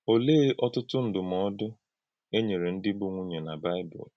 Ọ̀lee ọ̀tụ́tụ̀ ndúmòdù e nyere ndị bụ́ nwùnyè na Bịbụl?